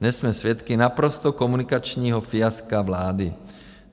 Dnes jsme svědky naprostého komunikačního fiaska vlády.